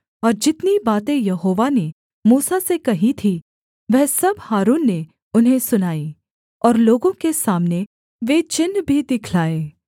और जितनी बातें यहोवा ने मूसा से कही थीं वह सब हारून ने उन्हें सुनाई और लोगों के सामने वे चिन्ह भी दिखलाए